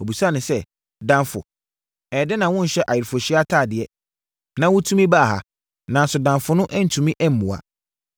Ɔbisaa no sɛ, ‘Damfo, ɛyɛɛ dɛn na wonhyɛ ayeforɔhyia atadeɛ, na wotumi baa ha?’ Nanso, damfo no antumi ammua.